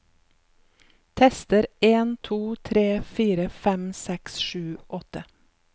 Tester en to tre fire fem seks sju åtte